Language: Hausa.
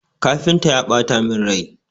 Kafintan ya ɓata min rai.